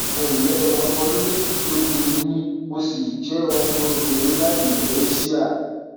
ẹ ǹlẹ o ọmọ ọdún méjìlélógún ni mí mo sì jẹ ọmọbìnrin láti ilẹ eéṣíà